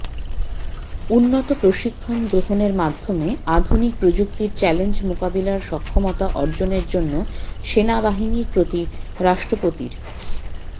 উন্নত প্রশিক্ষণ গ্রহণের মাধ্যমে আধুনিক প্রযুক্তির চ্যালেঞ্জ মোকাবেলার সক্ষমতা অর্জনের জন্য সেনাবাহিনীর প্রতি রাষ্ট্রপতির